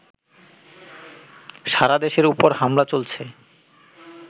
সারা দেশের উপর হামলা চলেছে